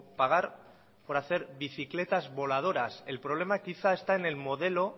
pagar por hacer bicicletas voladoras el problema quizá esta en el modelo